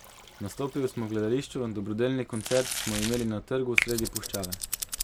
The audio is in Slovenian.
Nastopil smo v gledališču, dobrodelni koncert smo imeli na trgu sredi puščave.